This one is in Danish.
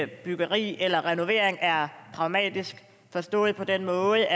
byggeri eller renovering er pragmatisk forstået på den måde